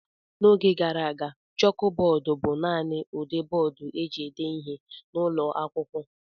N’oge gara aga, chọọkụ bọọdụ bụ naanị ụdị bọọdụ e ji ede ihe n’ụlọ akwụkwọ